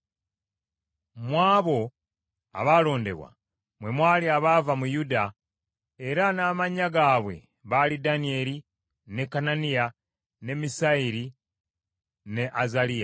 Mu abo abaalondebwa mwe mwali abaava mu Yuda, era n’amannya gaabwe baali Danyeri, ne Kananiya, ne Misayeri, ne Azaliya.